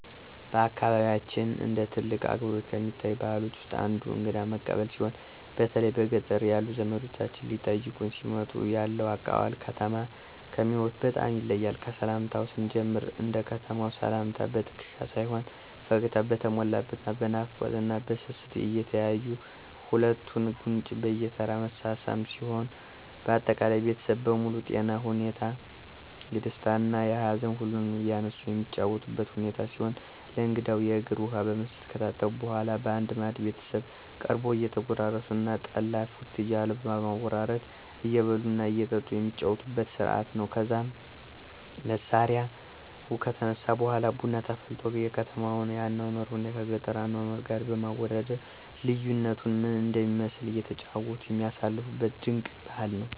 በአካባቢያችን እንደ ትልቅ አክብሮት ከሚታዩት ባህሎች ውስጥ አንዱ እንግዳ መቀበል ሲሆን በተለይ በገጠር ያሉ ዘመዶቻችን ሊጠይቁን ሲመጡ ያለው አቀባበል ከተማ ከሚኖሩት በጣም ይለያል። ከሰላምታው ስንጀምር እንደ ከተማው ሰላምታ በትክሻ ሳይሆን ፈገግታ በተሞላበት እና በናፍቆት እና በስስት እየተያዩ ሁለቱን ጉንጭ በየተራ መሳሳም ሲሆን አጠቃላይ ቤተሰቡ በሙሉ የጤና ሁኔታ፣ የደስታ እና ሀዘን ሁሉንም እያነሱ የሚጨዋወቱበት ሁኔታ ሲሆን ለእንግዳው የእግር ውሃ በመስጠት ከታጠበ በኃላ በአንድ ማዕድ ቤተሰቡ ቀርቦ እየተጎራረሱ እና ጠላ ፉት እያሉ በማወራረድ እየበሉ እና እየጠጡ የሚጫወቱበት ስርአት ነው። ከዛም መስሪያው ከተነሳ በኃላ ቡና ተፈልቶ የከተማውን የአኗኗር ሁኔታን ከገጠሩ አኗኗር ጋር በማወዳደር ልዩነቱ ምን እንደሚመስል እየተጨዋወቱ የሚያሳልፉበት ድንቅ ባህል ነው።